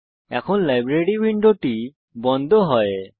এখন লাইব্রেরি উইন্ডোটি বন্ধ করুন